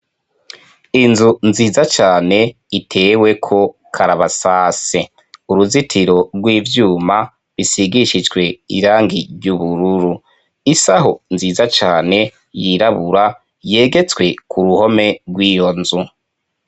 Inzu nziza cane iteweko karabasase uruzitiro rw'ivyuma bisigishijwe irangi ry'ubururu isaho nziza cane yirabura yegetswe ku ruhome rw'iyo nzu.